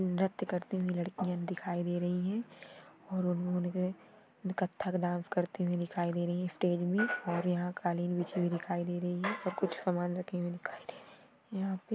नृत्य करते हुए लडकिया दिखाई दे रही है और वो कत्थक डान्स करते हुये दिखाई दे रही है स्टेज पे और यहाँ कालीन बिछी हुई दिखाई दे रही है और कुछ सामान रखे हुये दिखाई दे रहे है यहा पे।